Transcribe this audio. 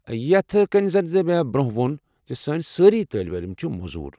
یتھ کٔنۍ زن مےٚ برٛۄنٛہہ ووٚن، سٲنۍ سٲری طٲلب علم چھِ موزوٗر۔